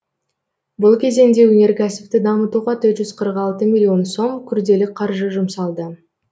бұл кезеңде өнеркәсіпті дамытуға миллион сом күрделі қаржы жұмсалды